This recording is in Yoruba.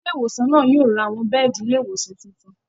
Ilé ìwòsàn náà yóò ra àwọn bẹ́ẹ̀di ilé ìwòsàn tuntun